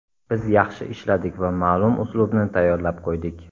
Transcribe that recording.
Biz yaxshi ishladik va ma’lum uslubni tayyorlab qo‘ydik.